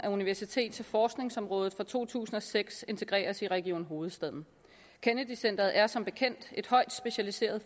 af universitets og forskningsområdet for to tusind og seks integreres i region hovedstaden kennedy centret er som bekendt et højt specialiseret